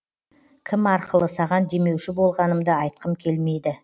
кім арқылы саған демеуші болғанымды айтқым келмейді